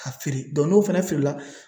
K'a feere n'o fana feerela